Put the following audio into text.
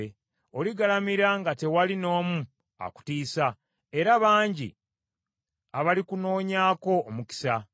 Oligalamira nga tewali n’omu akutiisa, era bangi abalikunoonyaako omukisa.